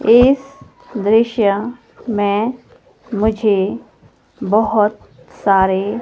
इस दृश्य में मुझे बहोत सारे--